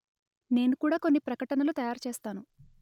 నేను కూడా కొన్ని ప్రకటనలు తయారు చేస్తాను